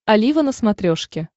олива на смотрешке